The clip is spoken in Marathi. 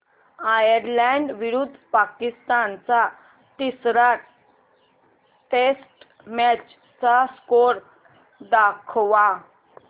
आयरलॅंड विरुद्ध पाकिस्तान च्या तिसर्या टेस्ट मॅच चा स्कोअर दाखवा